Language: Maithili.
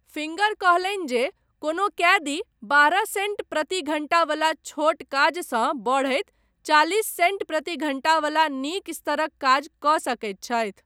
फिंगर कहलनि जे कोनो कैदी बारह सेंट प्रति घण्टा बला छोट काजसँ बढ़ैत चालिस सेंट प्रति घण्टा बला नीक स्तरक काज कऽ सकैत छथि।